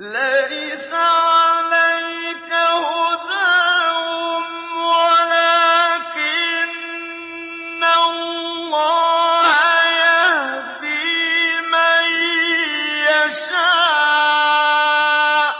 ۞ لَّيْسَ عَلَيْكَ هُدَاهُمْ وَلَٰكِنَّ اللَّهَ يَهْدِي مَن يَشَاءُ ۗ